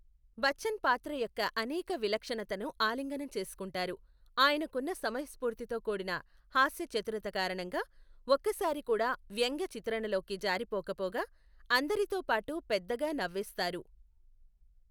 బచ్చన్ పాత్ర యొక్క అనేక విలక్షణతను ఆలింగనం చేసుకుంటారు, ఆయనకున్న సమయస్ఫూర్తితో కూడిన హాస్యచతురత కారణంగా, ఒక్కసారి కూడా వ్యంగ్య చిత్రణలోకి జారిపోకపోగా అందరితో పాటు పెద్దగా నవ్వేస్తారు.